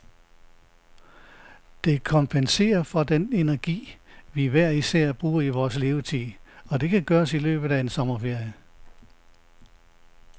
Det kompenserer for den energi, vi hver især bruger i vores levetid, og det kan gøres i løbet af en sommerferie.